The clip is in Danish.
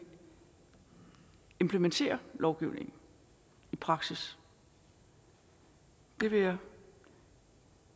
implementere lovgivningen i praksis det vil jeg